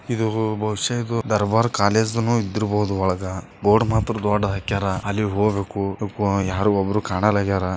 ಇದು ಬಹುಶ ಇದು ದರ್ಬಾರ್ ಕಾಲೇಜ್ ಇದ್ರೂ ಇರಬಹುದು ಒಳಗ ಬೋರ್ಡ್ ಮಾತ್ರ ದೊಡ್ಡದ್ ಹಾಕ್ಯಾರ ಅಲ್ಲಿ ಹೋಗ್ಬೇಕು ಯಾರು ಒಬ್ರು ಕಾಣಲ್ ಆಗ್ಯಾರ.